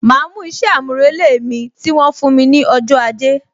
Ma mú isẹ amurele mi, tí wọn fún mi ní ọjọ́ ajé